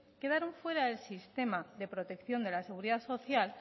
quedaron fuera del sistema de protección de la seguridad social